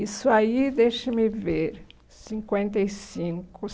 Isso aí, deixe-me ver, cinquenta e cinco